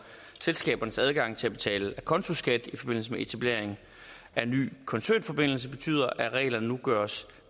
selskabernes adgang til at betale acontoskat i forbindelse med etablering af nye koncernforbindelser betyder at reglerne nu gøres